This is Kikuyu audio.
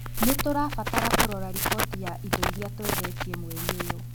Nĩ tũrabatara kũrora riboti ya indo iria twendetie mweri ũyũ.